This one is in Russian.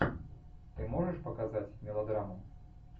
ты можешь показать мелодраму